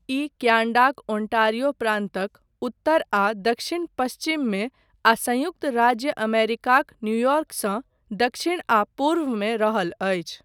ई क्यानडाक ओन्टारिओ प्रान्तक उत्तर आ दक्षिण पश्चिम मे आ संयुक्त राज्य अमेरिकाक न्युयोर्कसँ दक्षिण आ पूर्व मे रहल अछि।